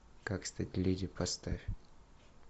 как стать леди поставь